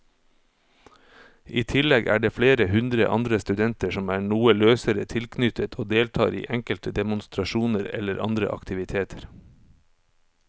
I tillegg er det flere hundre andre studenter som er noe løsere tilknyttet og deltar i enkelte demonstrasjoner eller andre aktiviteter.